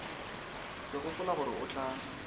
ke gopola gore o tla